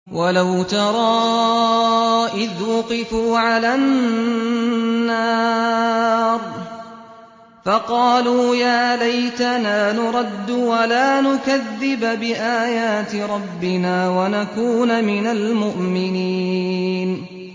وَلَوْ تَرَىٰ إِذْ وُقِفُوا عَلَى النَّارِ فَقَالُوا يَا لَيْتَنَا نُرَدُّ وَلَا نُكَذِّبَ بِآيَاتِ رَبِّنَا وَنَكُونَ مِنَ الْمُؤْمِنِينَ